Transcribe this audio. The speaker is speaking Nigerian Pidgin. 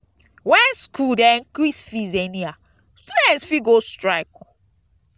when school dey increase fees anyhow students fit go strike.